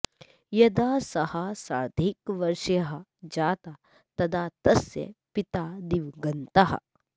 यदा सः सार्धैकवर्षीयः जातः तदा तस्य पिता दिवङ्गतः